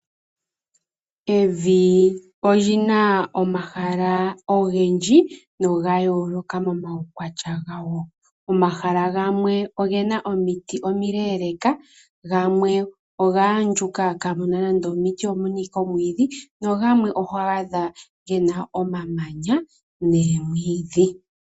Evi olyina omahala ogendji noga yooloka momaukwatya gawo. Omahala gamwe ogena omiti omileeleka, gamwe oga andjuka kamuna nande omiti omuna ashike omamanya. Nogamwe oho adha gena omamanya noomwiidhi.